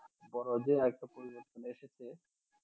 বড় যে